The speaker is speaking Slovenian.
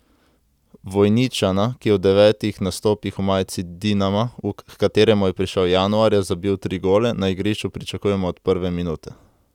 Vojničana, ki je v devetih nastopih v majici Dinama, h kateremu je prišel januarja, zabil tri gole, na igrišču pričakujemo od prve minute.